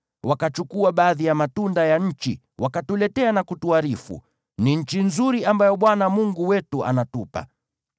Wakachukua baadhi ya matunda ya nchi, wakatuletea na kutuarifu, “Ni nchi nzuri ambayo Bwana Mungu wetu anatupa.”